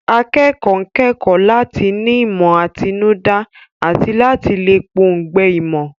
Akẹ́kọ̀ọ́ ń kẹ́kọ̀ọ́ láti ní ìmọ̀ àtinúdá àti láti lè pọ̀ǹgbẹ ìmọ̀.